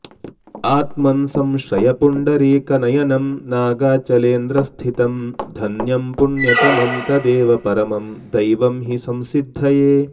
आत्मन् संश्रय पुण्डरीकनयनं नागाचलेन्द्रस्थितं धन्यं पुण्यतमं तदेव परमं दैवं हि संसिद्धये